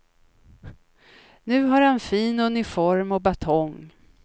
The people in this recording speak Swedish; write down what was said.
Nu har han fin uniform och batong.